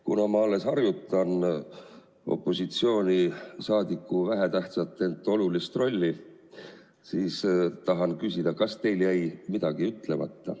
Kuna ma alles harjutan opositsioonisaadiku vähetähtsat, ent olulist rolli, siis tahan küsida, kas teil jäi midagi ütlemata.